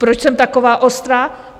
Proč jsem taková ostrá?